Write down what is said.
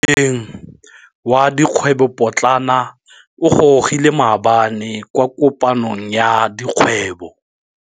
Moêng wa dikgwêbô pôtlana o gorogile maabane kwa kopanong ya dikgwêbô.